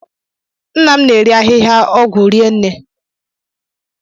Nna m na-eri ahịhịa ọgwụ rinne.